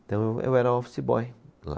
Então eu, eu era office boy lá.